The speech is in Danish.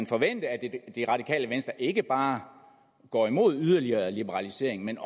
forvente at det radikale venstre ikke bare går imod yderligere liberalisering men